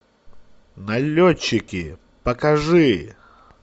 налетчики покажи